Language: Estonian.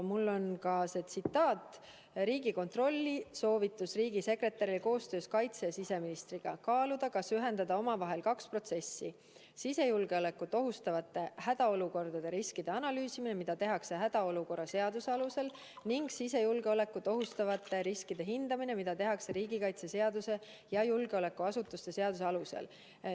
Mul on käepärast Riigikontrolli soovitus riigisekretärile: "Koostöös kaitse- ja siseministriga kaaluda, kas ühendada omavahel kaks protsessi: sisejulgeolekut ohustavate hädaolukordade riskide analüüsimine, mida tehakse hädaolukorra seaduse alusel, ning sisejulgeolekut ohustavate riskide hindamine, mida tehakse riigikaitseseaduse ja julgeolekuasutuste seaduse alusel.